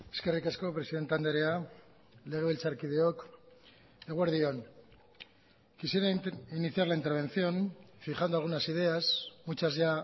eskerrik asko presidente andrea legebiltzarkideok eguerdi on quisiera iniciar la intervención fijando algunas ideas muchas ya